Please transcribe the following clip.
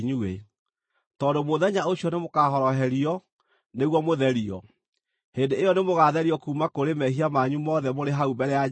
tondũ mũthenya ũcio nĩmũkahoroherio, nĩguo mũtherio. Hĩndĩ ĩyo nĩmũgatherio kuuma kũrĩ mehia manyu mothe mũrĩ hau mbere ya Jehova.